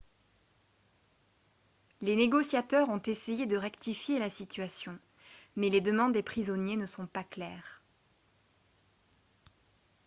les négociateurs ont essayé de rectifier la situation mais les demandes des prisonniers ne sont pas claires